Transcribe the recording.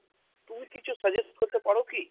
তুমি কিছু suggest করতে পারো কি?